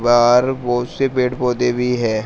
बाहर बहुत से पेड़ पौधे भी हैं।